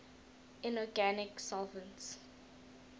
inorganic solvents